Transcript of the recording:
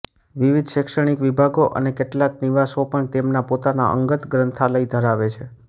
વિવિધ શૈક્ષણિક વિભાગો અને કેટલાક નિવાસો પણ તેમના પોતાના અંગત ગ્રંથાલય ધરાવે છે